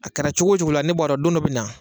A kɛra cogo cogo la ne b'a don dɔ be na